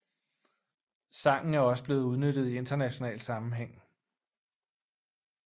Sangen er også blevet benyttet i international sammenhæng